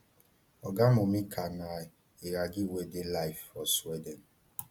oga momika na iraqi wey dey live for sweden